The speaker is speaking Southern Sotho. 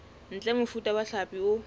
ntle mofuta wa hlapi o